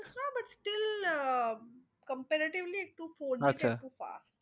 না but still ah comparatively একটু four G টা একটু fast